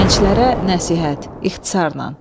Gənclərə nəsihət, ixtisarlan.